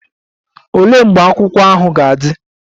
Olee mgbe akwụkwọ ahụ ga-adị?